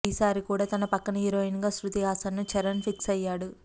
ఈసారి కూడా తన పక్కన హీరోయిన్ గా శృతిహాసన్ను చరణ్ ఫిక్సయ్యాడు